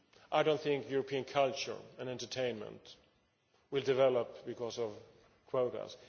I do not think European culture and entertainment will develop because of quotas.